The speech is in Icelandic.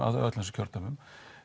öllum þessum kjördæmum